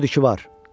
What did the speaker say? Özüdü ki var!